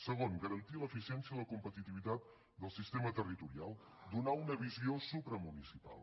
segon garantir l’eficiència i la competitivitat del sistema territorial donar una visió supramunicipal